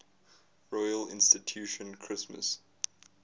royal institution christmas